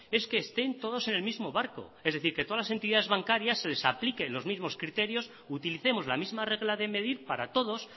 es que estén todos en el mismo barco es decir que todas las entidades bancarias se les aplique los mismos criterios utilicemos la misma regla de medir para todos